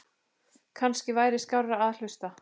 Kannski væri skárra að hlusta